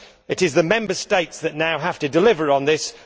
It is the Member States that now have to deliver on this.